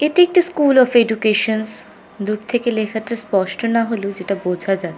এটি একটি school of educations দূর থেকে লেখাটা স্পষ্ট না হলেও যেটা বোঝা যা--